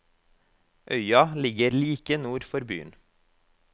Øya ligger like nord for byen.